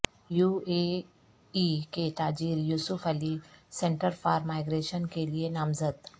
you A E کے تاجر Yusuf Ali centre for migration کیلئے نامزد